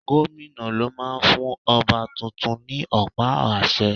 Gómìnà ló máa ń fún ọba tuntun ní ọ̀pá àṣẹ.